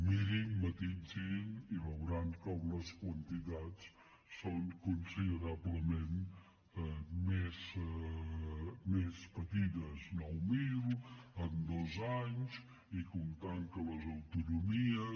mirin mati·sin i veuran com les quantitats són considerablement més petites nou mil en dos anys i comptant que les au·tonomies